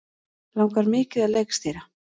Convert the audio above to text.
Langar mikið að leikstýra